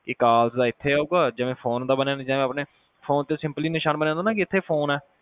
call ਦਾ ਇੱਥੇ ਆਉਗਾ ਜਿਵੇ ਫੋਨ ਦਾ ਬਣਿਆ ਨਿਸ਼ਾਂਨ ਸਾਹਮਣੇ ਫੋਨ ਤੇ simply ਨਿਸ਼ਾਨ ਬਣਿਆ ਹੁੰਦਾ ਕਿ ਇੱਥੇ ਫੋਨ ਆ